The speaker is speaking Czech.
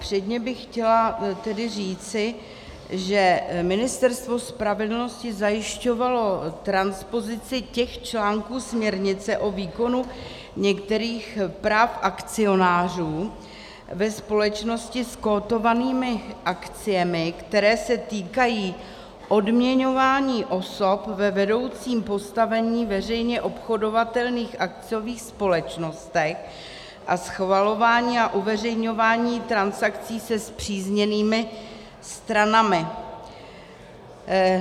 Předně bych chtěla tedy říci, že Ministerstvo spravedlnosti zajišťovalo transpozici těch článků směrnice o výkonu některých práv akcionářů ve společnosti s kotovanými akciemi, které se týkají odměňování osob ve vedoucím postavení veřejně obchodovatelných akciových společností a schvalování a uveřejňování transakcí se spřízněnými stranami.